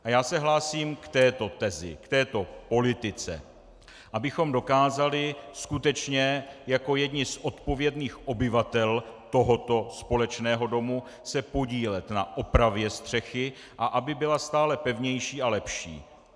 A já se hlásím k této tezi, k této politice, abychom dokázali skutečně jako jedni z odpovědných obyvatel tohoto společného domu se podílet na opravě střechy a aby byla stále pevnější a lepší.